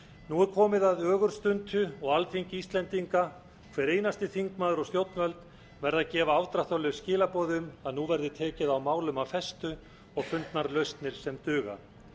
nú er komið að ögurstundu og alþingi íslendinga hver einasti þingmaður og stjórnvöld verða að gefa afdráttarlaus skilaboð um að nú verði tekið á málum af festu og fundnar lausnir sem duga